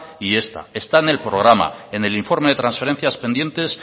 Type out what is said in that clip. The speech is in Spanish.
y esta está en el programa en el informe de transferencias pendientes